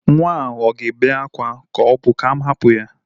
Nwa ahụ a ga-ébé akwa ka o bu m hapu ya?